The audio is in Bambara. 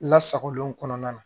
Lasagolen kɔnɔna na